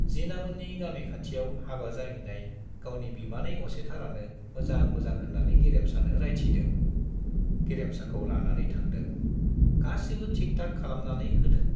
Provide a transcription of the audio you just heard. जिनामोननि गामि खाथियाव हाबा जाहैनाय गावनि बिमानै असेथारानो मोजां मोजां होन्नानै गेरेमसानो रायथिदों, गेरेमसाखौ लानानै थांदों, गासिबो थिक थाक खालामनानै होदों।